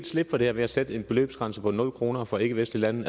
slippe for det her ved at sætte en beløbsgrænse på nul kroner for ikkevestlige lande